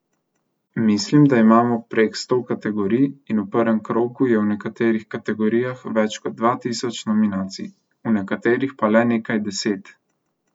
Mislim, da imamo prek sto kategorij in v prvem krogu je v nekaterih kategorijah več kot dva tisoč nominacij, v nekaterih pa le nekaj deset.